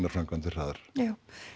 framkvæmdir hraðar já